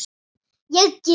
Ég gef.